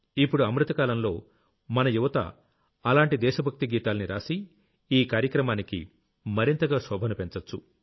ఇప్పుడు అమృతకాలంలో మన యువత అలాంటి దేశ భక్తి గీతాల్ని రాసి ఈ కార్యక్రమానికి మరింతగా శోభను పెంచొచ్చు